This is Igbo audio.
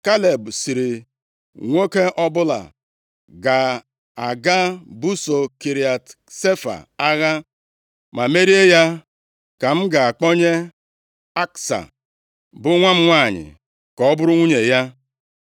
Kaleb sịrị, “Nwoke ọbụla ga-aga busoo Kiriat Sefa agha ma merie ya ka m ga-akpọnye Aksa, bụ nwa m nwanyị ka ọ bụrụ nwunye ya.”